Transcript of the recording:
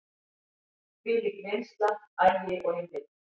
Þvílík vinnsla, agi og einbeiting.